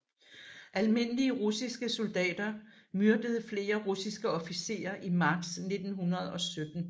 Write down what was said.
Almindelige russiske soldater myrdede flere russiske officerer i marts 1917